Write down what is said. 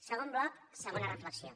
segon bloc segona reflexió